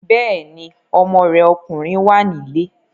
Bẹ́ẹ̀ni, ọmọ rẹ̀ ọkùnrin wà nílé